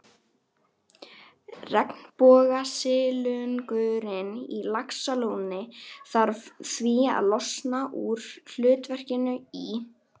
Regnbogasilungurinn í Laxalóni þarf því að losna úr hlutverkinu í